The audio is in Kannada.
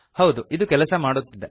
ಹೌದು ಇದು ಕೆಲಸ ಮಾಡುತ್ತಿದೆ